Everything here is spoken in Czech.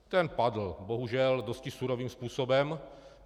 Ten padl bohužel dosti surovým způsobem.